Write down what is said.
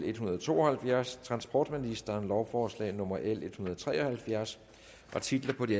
en hundrede og to og halvfjerds transportministeren lovforslag nummer l en hundrede og tre og halvfjerds titlerne på de